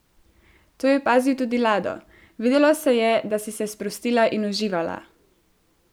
To je opazil tudi Lado: "Videlo se je, da si se sprostila in uživala.